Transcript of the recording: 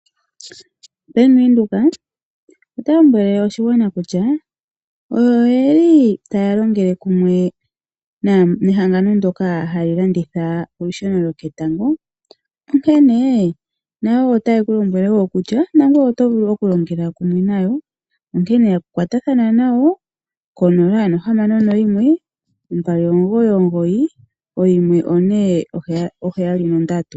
Bank Windhoek oya lombwele oshigwana kutya oyo yeli taya longele kumwe mehangano lyoka tali landitha olusheno lwo ketango, onkene nayo woo otayi kulombwele kutya nangweye oto vulu oku longela kumwe nayo, onkene kwa ta thana konola, nohamano, noyimwe, ombali, omugoyi, omugoyi, oyimwe, one, oheyali nondatu.